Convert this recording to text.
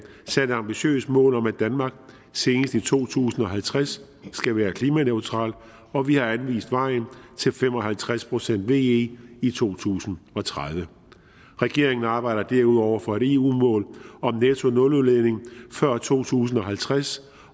sat et ambitiøst mål om at danmark senest i to tusind og halvtreds skal være klimaneutralt og vi har anvist vejen til fem og halvtreds procent ve i i to tusind og tredive regeringen arbejder derudover for et eu mål om nettonuludledning før to tusind og halvtreds